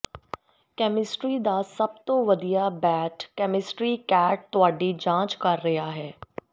chemistry ਦਾ ਸਭ ਤੋਂ ਵਧੀਆ ਬੈਟ ਕੈਮਿਸਟਰੀ ਕੈਟ ਤੁਹਾਡੀ ਜਾਂਚ ਕਰ ਰਿਹਾ ਹੈ